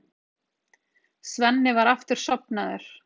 Svenni var aftur sofnaður.